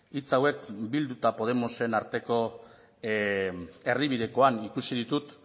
hitz hauek bildu eta podemosen arteko erdibidekoan ikusi ditut